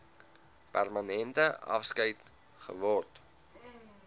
permanente afskeid geword